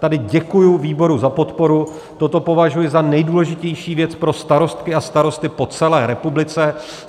Tady děkuji výboru za podporu, toto považuji za nejdůležitější věc pro starosty a starostky po celé republice.